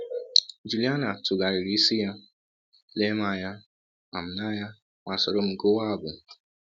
Jụliana tụgharịrị isi ya, lee m anya ma m anya ma sọrọ m gụwa abụ!